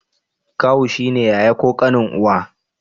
Kawu shi ne yaya ko ƙanin uwa.